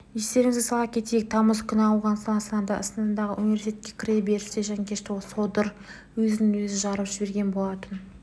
естеріңізге сала кетейік тамыз күні ауғанстан астанасындағы университетке кіре берісте жанкешті содыр өзін-өзі жарып жіберген болатын